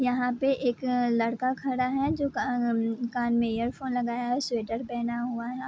यहाँ पे एक लड़का खड़ा है जो का अ कान में ईयरफोन लगाया है स्वेटर पहना हुआ है।